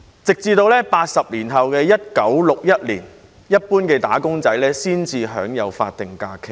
直至80多年後的1961年，一般"打工仔"才享有法定假日。